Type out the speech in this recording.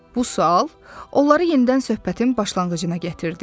Bu sual onları yenidən söhbətin başlanğıcına gətirdi.